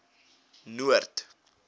noord